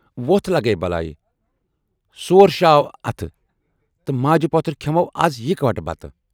وۅتھ لگے بلایہِ سۅرشاو اَتھٕ تہٕ ماجہِ پوتھٕر کٮ۪ھمو از یِکوٹہٕ بتہٕ۔